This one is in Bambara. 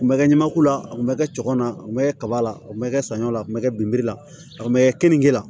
Kun bɛ kɛ ɲamaku la a kun bɛ kɛ cɔgɔ na kun bɛ kɛ kaba la o bɛ kɛ saɲɔ la a tun bɛ kɛ la a tun bɛ kɛ keninke la